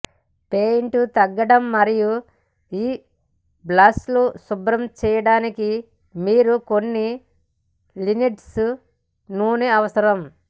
paint తగ్గడం మరియు మీ బ్రష్లు శుభ్రం చేయడానికి మీరు కొన్ని లిన్సీడ్ నూనె అవసరం